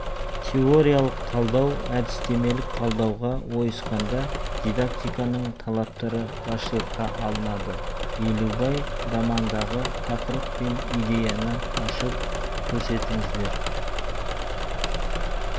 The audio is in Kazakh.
теориялық талдау әдістемелік талдауға ойысқанда дидактиканың талаптары басшылыққа алынады елубай романындағы тақырып пен идеяны ашып көрсетіңіздер